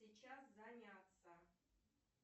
сейчас заняться